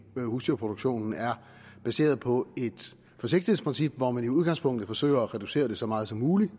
husdyrproduktionen er baseret på et forsigtighedsprincip hvor man i udgangspunktet forsøger at reducere det så meget som muligt